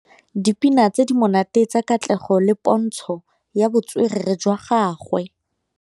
Dipina tse di monate tsa Katlego ke pôntshô ya botswerere jwa gagwe.